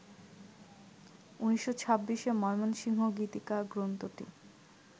১৯২৬-এ মৈমনসিংহ গীতিকা গ্রন্থটি